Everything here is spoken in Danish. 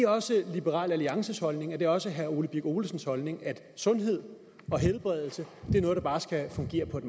også liberal alliances holdning og er det også herre ole birk olesens holdning at sundhed og helbredelse er noget der bare skal fungere på et